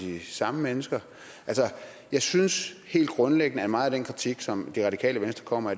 de samme mennesker jeg synes helt grundlæggende at meget af den kritik som det radikale venstre kommer